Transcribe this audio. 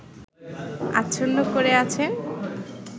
আচ্ছন্ন করে আছেন